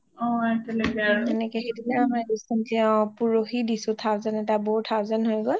এনেকে সেইদিনা আমাৰ recently অ পৰোহি দিছোঁ thousand এটা বৌৰ thousand হয় গল